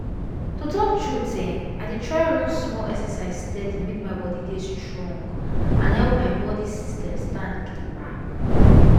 to talk truth[um]i dey try run small exercise steady make my body dey strong and help my body system stand gidigba